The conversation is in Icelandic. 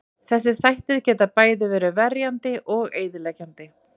Þessir þættir geta bæði verið verið verndandi og eyðileggjandi.